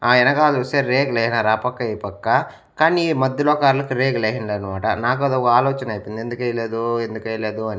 ఆ ఎనకాల చూస్తే రేకులు ఏసినారు ఆ పక్క ఈ పక్క కానీ ఈ మధ్యలో కార్ల కు రేకులు ఏసిండ్లేదు అన్నమాట నాకు అది ఒక ఆలోచన అయిపోయింది ఎందుకు ఏయలేదు ఎందుకు ఏయలేదు అని.